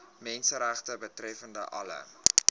menseregte betreffende alle